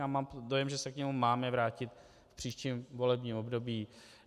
Já mám dojem, že se k němu máme vrátit v příštím volebním období.